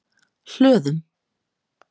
Hlöðum